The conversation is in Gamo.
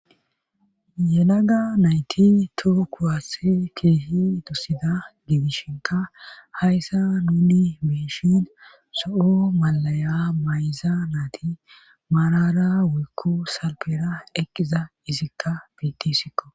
Yelaga nayti too kuwaats keehi tusida gidishinka hayssa nuni meishin soho malaya mayza naati maarara wuykko salpera eqqiza izikka biiti siqo.